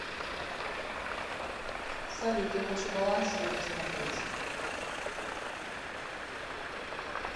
салют я хочу баланс свой посмотреть